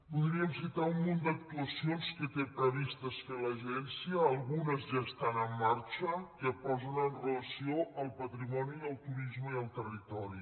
podríem citar un munt d’actuacions que té previst fer l’agència algunes ja estan en marxa que posen en relació el patrimoni i el turisme i el territori